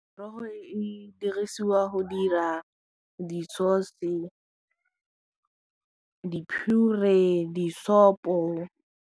Merogo e dirisiwa go dira di-sauce, di-pure, disopo.